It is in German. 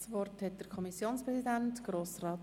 Nun hat der Kommissionspräsident das Wort.